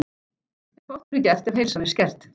En fátt verður gert, ef heilsan er skert.